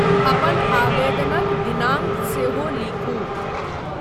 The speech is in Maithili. अपन आवेदनक दिनांक सेहो लिखू।